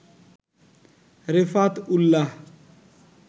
Refat Ullah